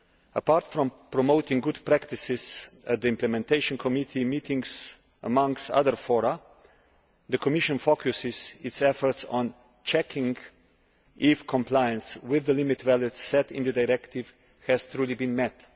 Apart from promoting good practices at the implementation committee meetings amongst other fora, the Commission focuses its efforts on checking if compliance with the limit values set in the directive has truly been met.